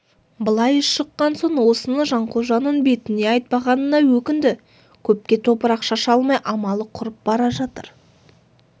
былай шыққан соң осыны жанқожаның бетіне айтпағанына өкінді көпке топырақ шаша алмай амалы құрып бара жатыр